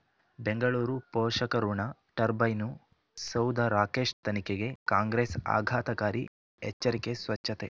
ಬೆಂಗಳೂರು ಪೋಷಕಋಣ ಟರ್ಬೈನು ಸೌಧ ರಾಕೇಶ್ ತನಿಖೆಗೆ ಕಾಂಗ್ರೆಸ್ ಆಘಾತಕಾರಿ ಎಚ್ಚರಿಕೆ ಸ್ವಚ್ಛತೆ